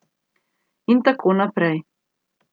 In tako naprej.